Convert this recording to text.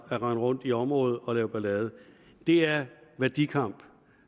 at rende rundt i området og lave ballade det er værdikamp